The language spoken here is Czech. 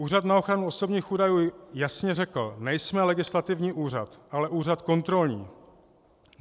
Úřad na ochranu osobních údajů jasně řekl: Nejsme legislativní úřad, ale úřad kontrolní.